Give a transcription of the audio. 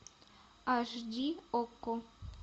аш ди окко